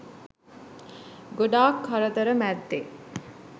ගොඩක් කරදර මැද්දෙ